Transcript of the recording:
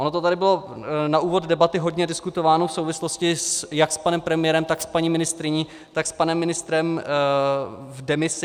Ono to tady bylo na úvod debaty hodně diskutováno v souvislosti jak s panem premiérem, tak s paní ministryní, tak s panem ministrem v demisi.